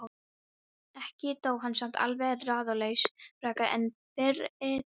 Ekki dó hann samt alveg ráðalaus frekar en fyrri daginn.